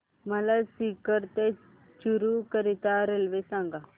मला सीकर ते चुरु करीता रेल्वे सांगा